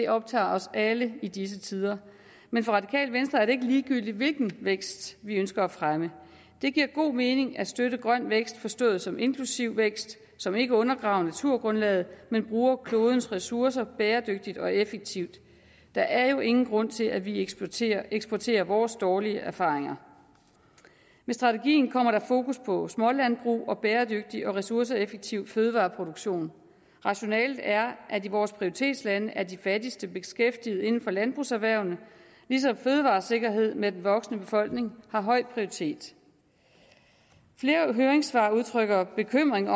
optager os alle i disse tider men for radikale venstre er det ikke ligegyldigt hvilken vækst vi ønsker at fremme det giver god mening at støtte grøn vækst forstået som inklusiv vækst som ikke undergraver naturgrundlaget men bruger klodens ressourcer bæredygtigt og effektivt der er jo ingen grund til at vi eksporterer eksporterer vores dårlige erfaringer med strategien kommer der fokus på smålandbrug og bæredygtig og ressourceeffektiv fødevareproduktion rationalet er at i vores prioritetslande er de fattigste beskæftiget inden for landbrugserhvervene ligesom fødevaresikkerhed med de voksende befolkninger har høj prioritet flere høringssvar udtrykker bekymring